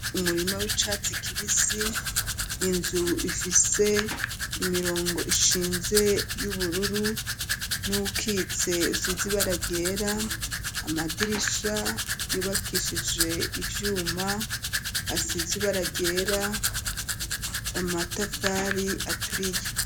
Umurima w'icatsi kibisi, inzu ifise imirongo ishinze y'ubururu n'uwukitse usize ibara ryera, amadirisha yubakishije ivyuma asize ibara ryera, amatafari aturiye.